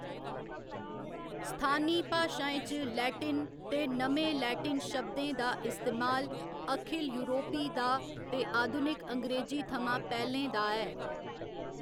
स्थानी भाशाएं च लैटिन ते नमें लैटिन शब्दें दा इस्तेमाल अखिल यूरोपी दा ते आधुनिक अंग्रेजी थमां पैह्‌लें दा ऐ।